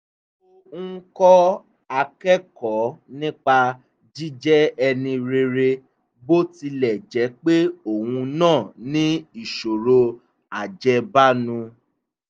ó ń kọ́ akẹ́kọ̀ọ́ nípa jíjẹ́ ẹni rere bó tilẹ̀ jẹ́ pé òun náà ní ìṣòro ajẹ́bánu